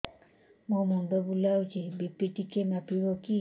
ମୋ ମୁଣ୍ଡ ବୁଲାଉଛି ବି.ପି ଟିକିଏ ମାପିବ କି